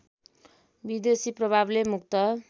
विदेशी प्रभावले मुक्त